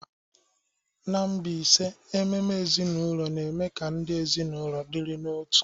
N'Mbaise ememe ezinaụlọ na-eme ka ndị ezinaụlọ dịrị n'otu.